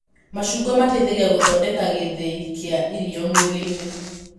Macungwa mateithagia gũthondeka gĩthĩi kĩa irio mwĩrĩ-inĩ